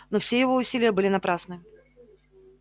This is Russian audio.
но все его усилия были напрасны